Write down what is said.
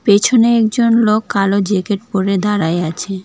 পেছনে একজন লোক কালো জ্যাকেট পড়ে দাঁড়ায় আছে।